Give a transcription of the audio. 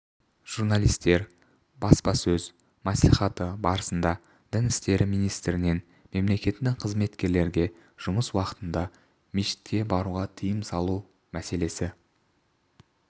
журналистер баспасөз мәслихаты барысында дін істері министрінен мемлекеттік қызметкерлерге жұмыс уақытында мешітке баруға тыйым салу мәселесі